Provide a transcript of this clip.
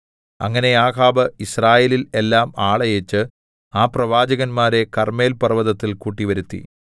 അങ്ങനെ ആഹാബ് യിസ്രായേലിൽ എല്ലാം ആളയച്ച് ആ പ്രവാചകന്മാരെ കർമ്മേൽപർവ്വതത്തിൽ കൂട്ടിവരുത്തി